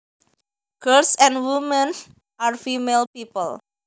Girls and women are female people